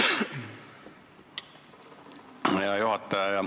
Hea juhataja!